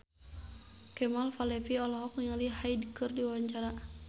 Kemal Palevi olohok ningali Hyde keur diwawancara